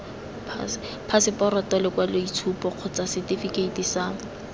phaseporoto lekwaloitshupo kgotsa setefikeiti sa